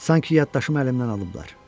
Sanki yaddaşım əlimdən alıblar.